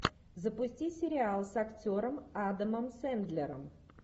запусти сериал с актером адамом сэндлером